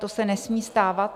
To se nesmí stávat.